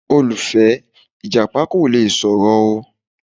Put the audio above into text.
Olùfẹ, Ìjàpá kò le sọ̀rọ̀ o.